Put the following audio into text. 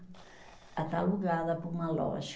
Ela está alugada para uma loja.